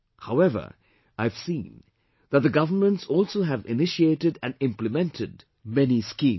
However, I have seen that the governments also have initiated and implemented many schemes